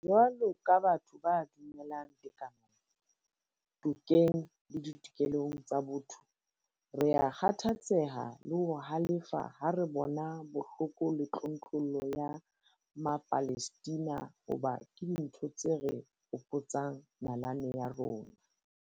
Jwalo ka batho ba dumelang tekanong, tokeng le ditokelong tsa botho, rea kgathatseha le ho halefa ha re bona bohloko le tlontlollo ya Mapalestina hoba ke dintho tse re hopotsang nalane ya rona.